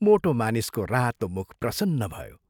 मोटो मानिसको रातो मुख प्रसन्न भयो।